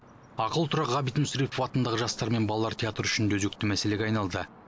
ақылы тұрақ ғабит мүсірепов атындағы жастар мен балалар театры үшін де өзекті мәселеге айналды